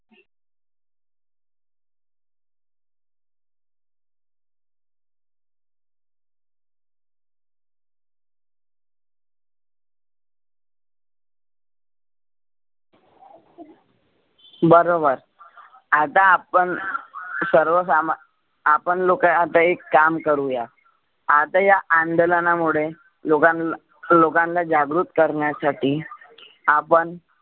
बरोबर आता आपण सर्वसामा आपण लोक आपण एक काम करुया आता या अंदोलनामुळे लोगांला लोकांना जागृक करण्यासाठी आपण